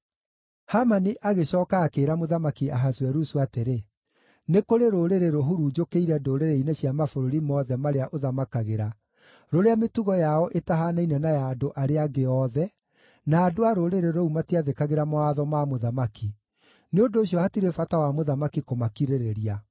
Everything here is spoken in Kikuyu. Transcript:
Hamani agĩcooka akĩĩra Mũthamaki Ahasuerusu atĩrĩ, “Nĩ kũrĩ rũrĩrĩ rũhurunjũkĩire ndũrĩrĩ-inĩ cia mabũrũri mothe marĩa ũthamakagĩra, rũrĩa mĩtugo yao ĩtahaanaine na ya andũ arĩa angĩ othe, na andũ a rũrĩrĩ rũu matiathĩkagĩra mawatho ma mũthamaki; nĩ ũndũ ũcio hatirĩ bata wa mũthamaki kũmakirĩrĩria.